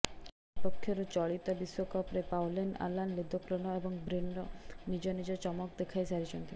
Brazil ପକ୍ଷରୁ ଚଳିତ ବିଶ୍ୱକପ୍ରେ ପାଉଲିନ୍ ଆଲାନ୍ ଲିଦ୍କୋଲ୍ନ ଏବଂ ବ୍ରିନର ନିଜ ନିଜ ଚମକ ଦେଖାଇ ସାରିଛନ୍ତି